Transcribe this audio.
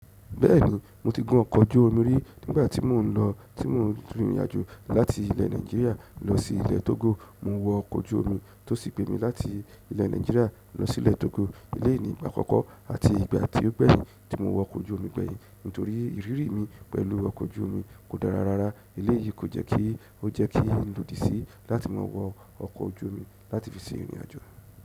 Bẹ́ẹ̀ni, mo ti gun ọkọ̀ ojú omi rí nígbà tí mò ń lọ, tí mò ń rin ìrìn àjò láti ilẹ̀ Nàìjíríà lọ sí ilẹ̀ Togo. Mo wọ ọkọ̀ ojú omi tó sì gbé mi láti ilẹ̀ Nàìjíríà lọ sí ilẹ̀ Togo. Elé yìí ni ìgbà àkọ́kọ́ àti ìgbà tí ó gbeyin tí mo wọ ọkọ̀ ojú omi gbẹ̀yìn nítorí ìrírí mi pẹ̀lú ọkọ̀ ojú omi kò dára rárá. Eleyi ko jeki o jeki n lodi si láti ma wo oko ojú omi láti fi se irin ajo.